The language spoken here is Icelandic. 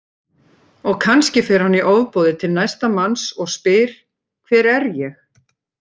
Og kannski fer hann í ofboði til næsta manns og spyr Hver er ég?